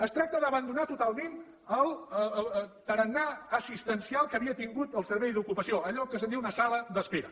es tracta d’abandonar totalment el tarannà assistencial que havia tingut el servei d’ocupació allò que se’n diu una sala d’espera